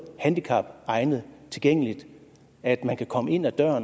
handicapegnet tilgængeligt at man kan komme ind ad døren